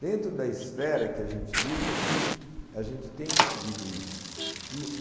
Dentro da esfera que a gente lida aqui, a gente tem conseguido isso.